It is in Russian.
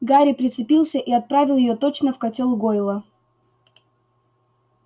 гарри прицелился и отправил её точно в котёл гойла